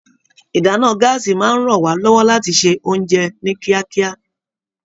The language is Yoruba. Ìdáná gàásí máa n rán wa lọwọ láti ṣe oúnjẹ ni kíákíá.